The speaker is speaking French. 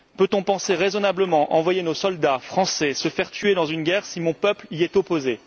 Peut on penser raisonnablement envoyer nos soldats français se faire tuer dans une guerre si mon peuple y est opposé?